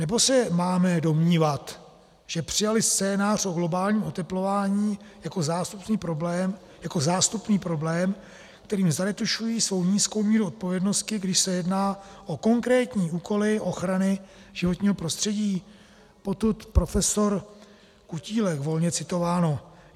Nebo se máme domnívat, že přijali scénář o globálním oteplování jako zástupný problém, kterým zaretušují svou nízkou míru odpovědnosti, když se jedná o konkrétní úkoly ochrany životního prostředí? - Potud profesor Kutílek, volně citováno.